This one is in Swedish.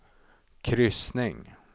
kryssning